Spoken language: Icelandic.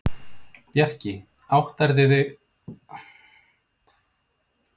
Bjarki, áttarðu á því hvað þú ert að gera?